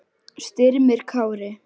Styrmir Kári.